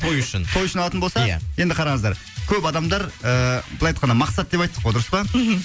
той үшін той үшін алатын болса ия енді қараңыздар көп адамдар ыыы былай айтқанда мақсат деп айттық қой дұрыс па мхм